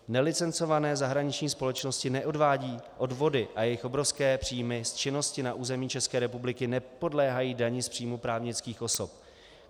Nelicencované zahraniční společnosti neodvádějí odvody a jejich obrovské příjmy z činnosti na území České republiky nepodléhají dani z příjmu právnických osob.